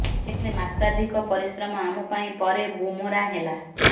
ହେଲେ ମାତ୍ରାଧିକ ପରିଶ୍ରମ ଆମ ପାଇଁ ପରେ ବୁମେରାଁ ହେଲା